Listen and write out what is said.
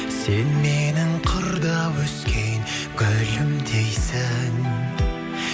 сен менің қырда өскен гүлімдейсің